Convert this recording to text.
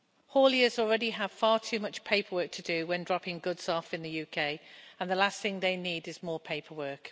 Hauliers already have far too much paperwork to do when dropping goods off in the UK and the last thing they need is more paperwork.